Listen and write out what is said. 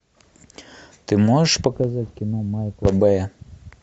ты можешь показать кино майкла бэя